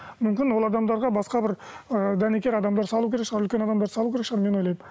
мүмкін ол адамдарға басқа бір ыыы дәнекер адамдар салу керек шығар үлкен адамдарды салу керек шығар мен ойлаймын